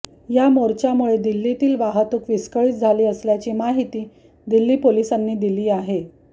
या मोर्चामुळे दिल्लीतली वाहतूक विस्कळीत झाली असल्याची माहिती दिल्ली पोलिसांनी दिली आहे